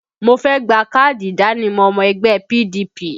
Mo fẹ́ gba káàdì ìdánimọ̀ ọmọ ẹgbẹ́ PDP